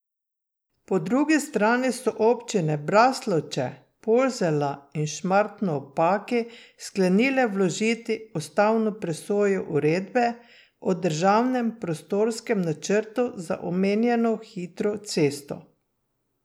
Po drugi strani so občine Braslovče, Polzela in Šmartno ob Paki sklenile vložiti ustavno presojo uredbe o državnem prostorskem načrtu za omenjeno hitro cesto.